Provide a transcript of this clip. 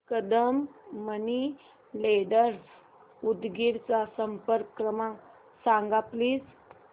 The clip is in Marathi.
कदम मनी लेंडर्स उदगीर चा संपर्क क्रमांक सांग प्लीज